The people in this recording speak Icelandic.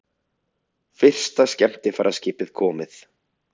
Fyrsta skemmtiferðaskipið komið